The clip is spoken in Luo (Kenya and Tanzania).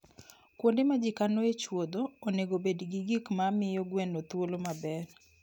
Kuonde ma ji kanoe chuodho onego obed gi gik ma miyo gweno thuolo maber.